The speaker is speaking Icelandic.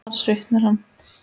Þar svitnar hann.